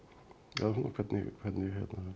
eða hvernig hvernig